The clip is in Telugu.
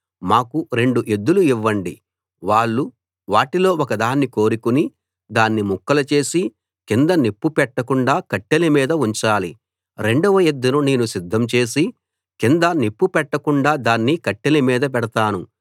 మాకు రెండు ఎద్దులు ఇవ్వండి వాళ్ళు వాటిలో ఒక దాన్ని కోరుకుని దాన్ని ముక్కలు చేసి కింద నిప్పు పెట్టకుండా కట్టెల మీద ఉంచాలి రెండవ ఎద్దును నేను సిద్ధం చేసి కింద నిప్పు పెట్టకుండా దాన్ని కట్టెల మీద పెడతాను